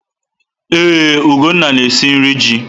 Ee, Ugonna na-esi nri ji.